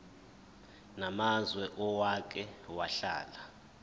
namazwe owake wahlala